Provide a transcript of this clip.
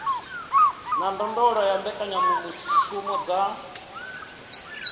na ndondolo ya mbekanyamushumo dza